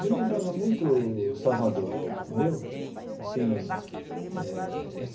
Me lembrava muito Salvador entendeu assim eh essa.